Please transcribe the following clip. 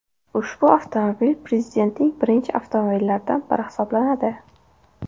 Ushbu avtomobil prezidentning birinchi avtomobillaridan biri hisoblanadi.